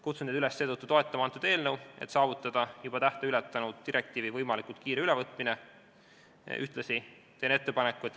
Kutsun teid seetõttu üles eelnõu toetama, et saavutada direktiivi võimalikult kiire ülevõtmine, selle tähtaeg on juba ületatud.